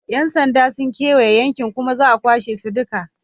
Yan sanda sun kewaye yankunan kuma za a kwashe su duka.